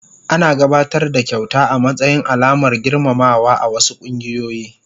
Ana gabatar da kyauta a matsayin alamar girmamawa a wasu kungiyoyi.